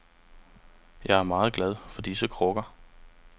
Jeg er meget glad for disse krukker.